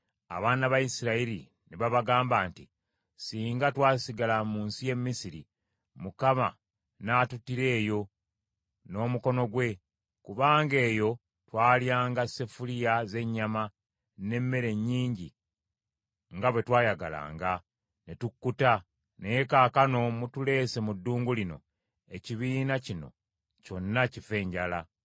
Abaana ba Isirayiri ne babagamba nti, “Singa twasigala mu nsi y’e Misiri, Mukama n’atuttira eyo n’omukono gwe! Kubanga eyo twalyanga sefuliya z’ennyama, n’emmere nnyingi nga bwe twayagalanga, ne tukkuta; naye kaakano mutuleese mu ddungu lino, ekibiina kino kyonna kife enjala.”